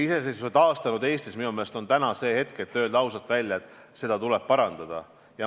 Iseseisvuse taastanud Eestis on minu meelest täna see hetk, et öelda ausalt välja: seda tuleb parandada.